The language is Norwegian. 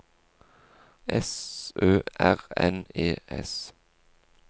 S Ø R N E S